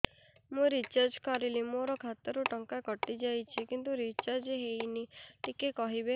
ମୁ ରିଚାର୍ଜ କରିଲି ମୋର ଖାତା ରୁ ଟଙ୍କା କଟି ଯାଇଛି କିନ୍ତୁ ରିଚାର୍ଜ ହେଇନି ଟିକେ କହିବେ